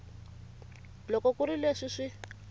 loko ku ri leswi swi